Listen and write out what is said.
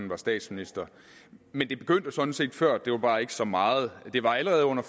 var statsminister men det begyndte jo sådan set før det var bare ikke så meget det var allerede under